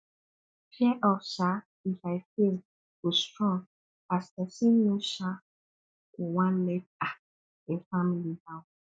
fear of um if i fail go strong as pesin no um go wan let um im family down